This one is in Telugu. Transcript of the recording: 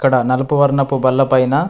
డ నలుపు వర్ణపు బల్ల పైన.